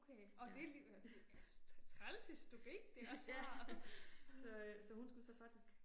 Okay åh det lige, øh træls historik det også har